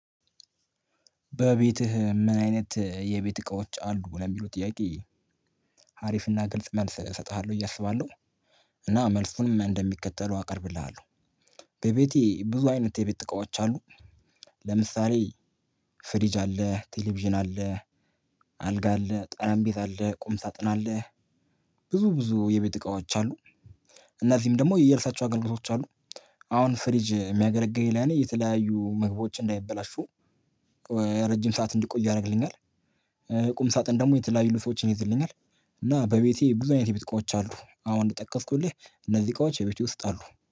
በቤትህ ምን አይነት የቤት እቃዎች አሉ ለሚለው ጥያቄ? አሪፍና ግልጽ መልስ እሰጥሃለሁ ብዬ አስባለሁ። እና መልሱንም እንደሚከተሉው አቀርብልሃለሁ። በቤቴ ብዙ አይነት የቤት ጥቃዎች አሉ። ለምሳሌ ፍሪጅ አለ ቴሌቪዥን አለ። አልጋ አለ ጠረንቤዛ አለ ቁም ሳጥን አለ። ብዙ ብዙ የቤት እቃዎች አሉ። እነዚህም ደግሞ የየራሳቸው አገልግሎቶች አሉ። አሁን ፍሪጅ የሚያገለግለኝ ለኔ የተለያዩ ምግባች እንዳይበላሹ። ረጅም ሰዓት እንዲቆዩ ያደርግልኛል። ቁም ሳጥን ደግሞ የተለያዩ ልብሶችን ይይዝልኛል። እና በቤቴ ብዙ አይነት ቤት እቃዎች አሉ አሁን የጠቀስኩልህ እነዚህ እቃዎች በቤቴ ውስጥ አሉ